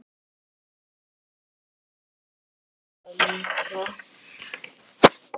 Stefán gerði það líka.